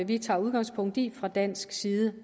vi tager udgangspunkt i fra dansk side